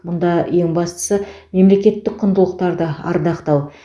мұнда ең бастысы мемлекеттік құндылықтарды ардақтау